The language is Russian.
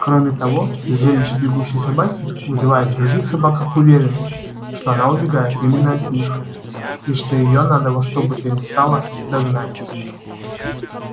кроме того зрелище бегущей собаки вызывает в других собаках уверенность что она убегает именно от них и что её надо во что бы то ни стало догнать